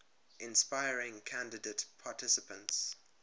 inspiring candidate participants